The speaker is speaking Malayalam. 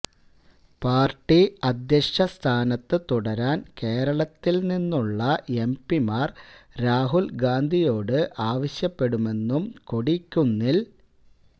പാര്ട്ടി അധ്യക്ഷ സ്ഥാനത്ത് തുടരാന് കേരളത്തില് നിന്നുള്ള എംപിമാര് രാഹുല് ഗാന്ധിയോട് ആവശ്യപ്പെടുമെന്നും കൊടിക്കുന്നില്